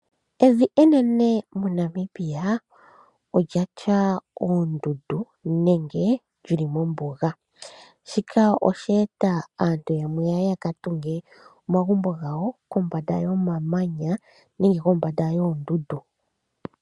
Evi enene moNamibia olya tya uundundu nenge lyili mombuga. Shika osha eta aantu yamwe yaka tunge omagumbo gawo kombanda yomamanya nenge kombanda yoondundu.